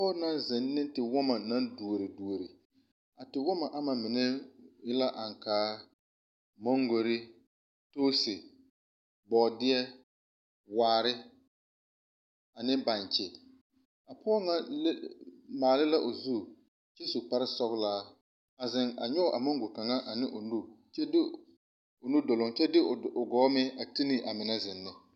Pɔge naŋ zeŋ ne tewɔma naŋ duori duori, a tewɔma ama mineŋ la; Aŋkaa, mangori, toose, bɔɔdeɛ, waari ane baŋkye, a pɔge ŋa le maale la o zu, kyɛ su kpare sɔglaa, a zeŋ a nyɔge a mango kaŋa ane o nuduloŋ, kyɛ de o gɔɔ meŋ a ti ne amine zeŋ ne.